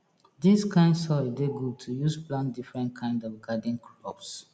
dis kind soil dey good to use plant different kind of garden crops